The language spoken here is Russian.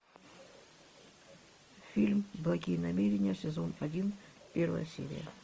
фильм благие намерения сезон один первая серия